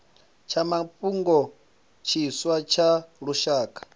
tsha mafhungo tshiswa tsha lushaka